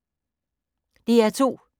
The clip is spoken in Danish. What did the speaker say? DR2